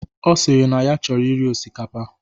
Ọ sịrị na ya chọrọ iri osikapa.